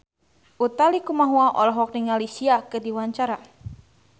Utha Likumahua olohok ningali Sia keur diwawancara